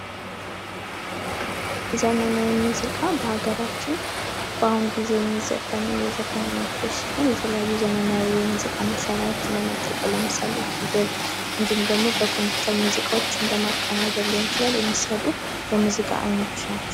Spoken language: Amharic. ዘመናዊ ሙዚቃ በሀገራችን በአሁኑ ጊዜ የሚዘፈኑ የዘፈን አይነቶች ሲሆን የተለያዩ ዘመናዊ የሙዚቃ መሳሪያዎችን በመጠቀም ለምሳሌ ኪቦርድ እንዲሁም ደግሞ በኮምፒዩተር ሙዚቃዎችን በማቀናበር ሊሆን ይችላል የሚሰሩ ሙዚቃዎች ናቸዉ።